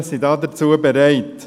Wir Grüne sind dazu bereit.